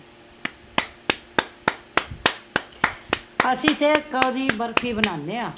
ਅਸੀਂ ਤੇ ਓਦ੍ਹੀ ਬਰਫੀ ਬਨਾਂਦੇ ਹਾ